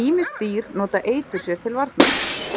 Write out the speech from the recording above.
Ýmis dýr nota eitur sér til varnar,